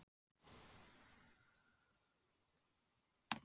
Sé líka að spor hennar þyngjast.